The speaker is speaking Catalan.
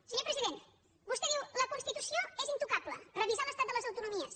senyor president vostè diu la constitució és intocable revisar l’estat de les autonomies